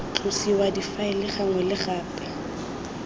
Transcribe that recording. tlosiwa difaele gangwe le gape